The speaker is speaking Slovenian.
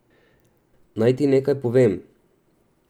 Naj ti nekaj povem.